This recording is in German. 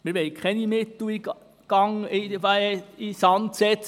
Wir wollen keine Mittel in den Sand setzen.